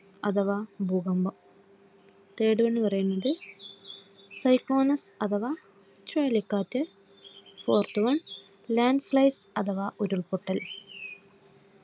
Third one എന്ന് പറയുന്നത് Syconic അഥവാ ചുഴലിക്കാറ്റ്. Forth one Landslide അഥവാ ഉരുൾപൊട്ടൽ.